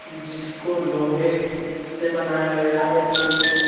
जिसको लोहे से बनाया गया है पुल को।